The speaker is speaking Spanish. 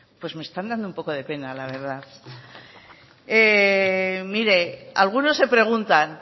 pues me están dando un poco de pena la verdad mire algunos se preguntan